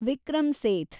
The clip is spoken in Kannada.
ವಿಕ್ರಮ್ ಸೇಥ್